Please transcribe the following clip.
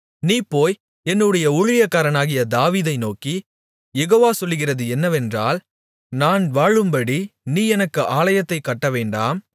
நீ போய் என்னுடைய ஊழியக்காரனாகிய தாவீதை நோக்கி யெகோவா சொல்லுகிறது என்னவென்றால் நான் வாழும்படி நீ எனக்கு ஆலயத்தைக் கட்டவேண்டாம்